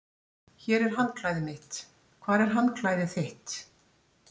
Hér er handklæðið mitt. Hvar er handklæðið þitt?